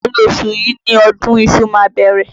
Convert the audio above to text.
Ìpárí oṣù yìí ni ọdún iṣu ma bẹ̀rẹ̀.